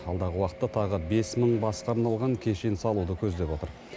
алдағы уақытта тағы бес мың басқа арналған кешен салуды көздеп отыр